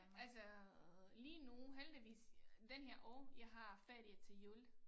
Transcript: Altså lige nu heldigvis den her år jeg har ferie til jul